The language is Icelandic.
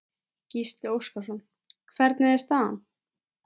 Gísli Óskarsson: Hvernig er staðan?